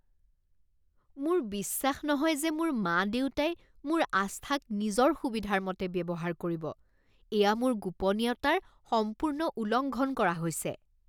মোৰ বিশ্বাস নহয় যে মোৰ মা দেউতাই মোৰ আস্থাক নিজৰ সুবিধাৰ মতে ব্যৱহাৰ কৰিব। এয়া মোৰ গোপনীয়তাৰ সম্পূৰ্ণ উলংঘন কৰা হৈছে।